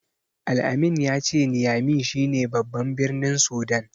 Al-amin ya ce Niyami shi ne baban birnin Sudan.